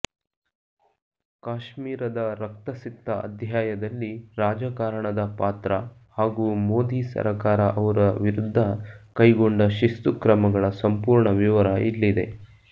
ಕಾಶ್ಮೀರದ ರಕ್ತಸಿಕ್ತ ಅಧ್ಯಾಯದಲ್ಲಿ ರಾಜಕಾರಣದ ಪಾತ್ರ ಹಾಗೂ ಮೋದಿ ಸರಕಾರ ಅವರ ವಿರುದ್ದ ಕೈಗೊಂಡ ಶಿಸ್ತುಕ್ರಮಗಳ ಸಂಪೂರ್ಣ ವಿವರ ಇಲ್ಲಿದೆ